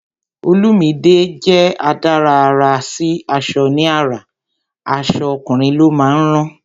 Olumide jẹ́ adárà àrà sí aṣọ ní ara, aṣọ ọkùnrin ló sì máa ń rán